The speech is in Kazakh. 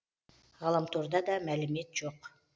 ғаламторда да мәлімет жоқ